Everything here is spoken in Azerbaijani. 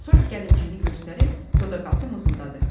Sonra gəlincini göstərib, dodaqaltı mızıldadı: